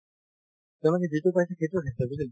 তেওঁলোকে যিটো পাইছে সেইটোয়ে আনিছে বুজিলা